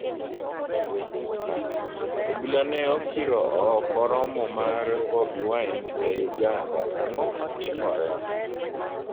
Obila ne okiro ooko romo mar Bobbi Wine ei Uganda -ang'o matimore?